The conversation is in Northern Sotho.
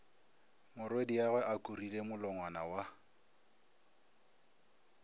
morwediagwe a kurile molongwana wa